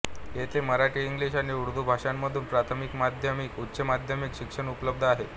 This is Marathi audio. येथे मराठी इंग्लिश आणि उर्दू भाषांमधून प्राथमिक माध्यमिक ऊच्चमाध्यमिक शिक्षण उपलब्ध आहे